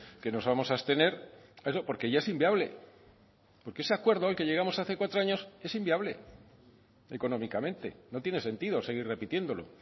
que nos vamos a abstener porque ya es inviable porque ese acuerdo al que llegamos hace cuatro años es inviable económicamente no tiene sentido seguir repitiéndolo